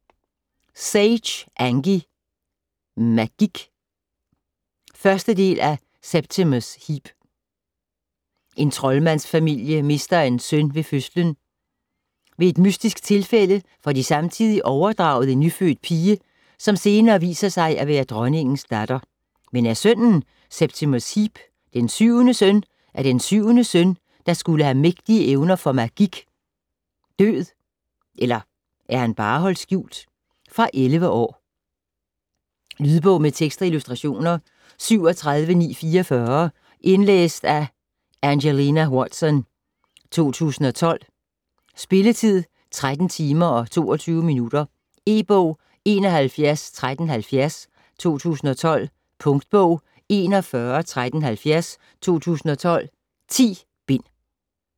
Sage, Angie: Magik 1. del af Septimus Heap. En troldmandsfamilie mister en søn ved fødslen. Ved et mystisk tilfælde får de samtidig overdraget en nyfødt pige, som senere viser sig at være dronningens datter. Men er sønnen, Septimus Heap, den syvende søn af den syvende søn, der skulle have mægtige evner for magik, død, eller er han bare holdt skjult? Fra 11 år. Lydbog med tekst og illustrationer 37944 Indlæst af Angelina Watson, 2012. Spilletid: 13 timer, 22 minutter. E-bog 711370 2012. Punktbog 411370 2012. 10 bind.